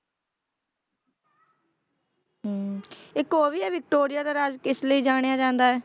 ਹਮ ਇੱਕ ਉਹ ਵੀ ਹੈ ਵਿਕਟੋਰੀਆ ਦਾ ਰਾਜ ਕਿਸ ਲਈ ਜਾਣਿਆ ਜਾਂਦਾ ਹੈ।